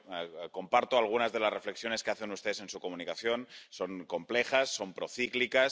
Yo comparto algunas de las reflexiones que hacen ustedes en su comunicación son complejas, son procíclicas.